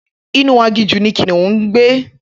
Inú aginjù ni kìnìún ngbé